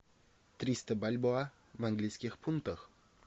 триста бальбоа в английских фунтах